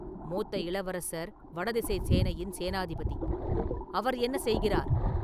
மூத்த இளவரசர் வடதிசைச் சேனையின் சேனாபதி; அவர் என்ன செய்கிறார்?